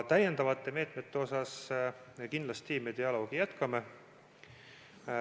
Täiendavate meetmete üle me kindlasti dialoogi jätkame.